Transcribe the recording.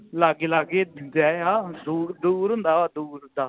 ਲਾਗੇ ਲਾਗੇ ਡਰੀਆਂ ਦੂਰ ਦੂਰ ਹੁੰਦਾ ਵ ਦੂਰ ਦਾ